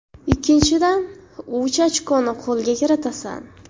Ikkinchidan, uch ochkoni qo‘lga kiritasan.